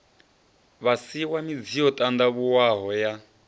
vhasiwa midzi yo ṱandavhuwaho ya